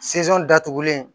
datugulen